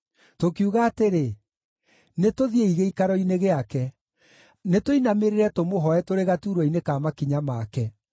Tũkiuga atĩrĩ, “Nĩtũthiĩi gĩikaro-inĩ gĩake; nĩtũinamĩrĩre tũmũhooe tũrĩ gaturwa-inĩ ka makinya make;